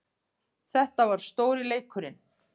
Þetta var stóri leikurinn